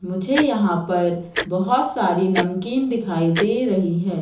मुझे यहां पर बहुत सारी नमकीन दिखाई दे रही है।